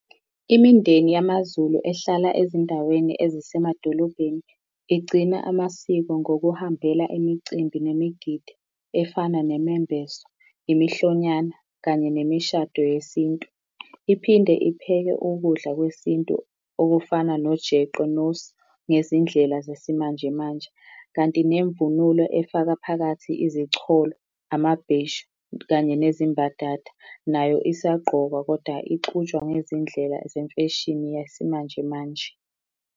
Imindeni yamaZulu ehlala ezindaweni ezisemadolobhedeni, igcina amasiko ngokuhambela imicimbi nemigidi efana nemembeso, imihlonyana kanye nemishado yesintu. Iphinde ipheke ukudla kwesintu okufana nojeqe nosu ngezindlela zesimanjemanje. Kanti nemvunulo efaka phakathi izicholo, amabheshu, kanye nezimbadada nayo isagqokwa kodwa ixutshwa ngezindlela zemfesheni yesimanjemanje.